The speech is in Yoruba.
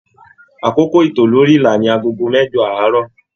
Àkókò ito lórí ìlà ní agogo mẹjọ aarọ.